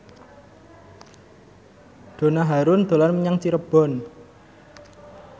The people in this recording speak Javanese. Donna Harun dolan menyang Cirebon